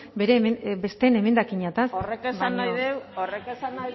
besteen emendakinetan horrek esan nahi du horrek esan